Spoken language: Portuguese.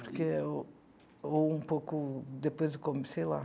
porque o ou um pouco depois do começo, sei lá.